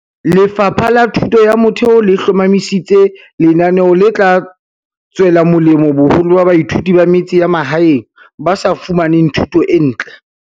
Lefapha la Thuto ya Motheo le hlomamisi tse lenaneo le tla tswe la molemo boholo ba baithuti ba metse ya mahaeng ba sa fumaneng thuto e ntle.